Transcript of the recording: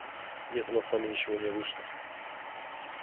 нет у нас с вами ничего не вышло